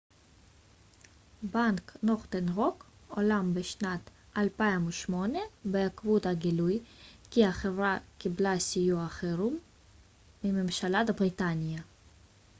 בנק נורת'ן רוק הולאם בשנת 2008 בעקבות הגילוי כי החברה קיבלה סיוע חירום מממשלת בריטניה